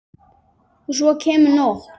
Og svo kemur nótt.